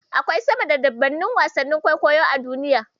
Akwai sama da dubunnan wasannin kwaikwayo a duniya.